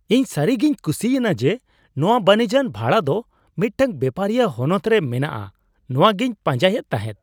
ᱤᱧ ᱥᱟᱹᱨᱤᱜᱮᱧ ᱠᱩᱥᱤ ᱮᱱᱟ ᱡᱮ ᱱᱚᱶᱟ ᱵᱟᱹᱱᱤᱡᱟᱱ ᱵᱷᱟᱲᱟ ᱫᱚ ᱢᱤᱫᱴᱟᱝ ᱵᱮᱯᱟᱨᱤᱭᱟᱹ ᱦᱚᱱᱚᱛ ᱨᱮ ᱢᱮᱱᱟᱜᱼᱟ ᱾ ᱱᱚᱶᱟ ᱜᱮᱧ ᱯᱟᱸᱡᱟᱭᱮᱫ ᱛᱟᱦᱮᱸᱫ ᱾